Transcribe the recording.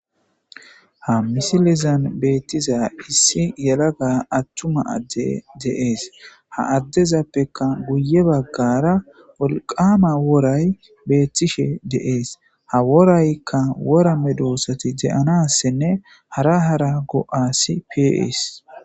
ha misilizan beetiiza issi yelagga attumma addey de'ees ha addezappeka guye baggara wolqqama woray betiishshe de'ees ha woraykka wora medoossati de'anassinne hara hara go'assi pe'ees